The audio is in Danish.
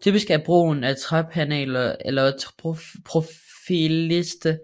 Typisk er brugen af træpaneler eller profillister